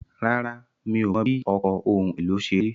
Rárá, mi ò mọ̀ bí ọkọ̀ ohun èlò ṣe rí.